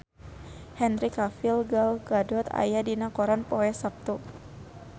Henry Cavill Gal Gadot aya dina koran poe Saptu